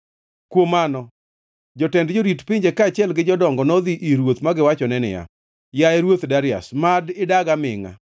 Kuom mano, jotend jorit pinje, kaachiel gi jodongo, nodhi ir ruoth ma giwachone niya, “Yaye ruoth Darius, mad idag amingʼa!